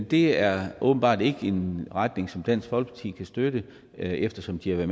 det er åbenbart ikke en retning som dansk folkeparti kan støtte eftersom de har